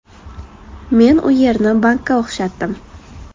Men u yerni bankka o‘xshatdim.